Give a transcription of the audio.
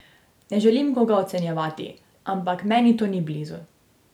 Ne želim koga ocenjevati, ampak meni to ni blizu.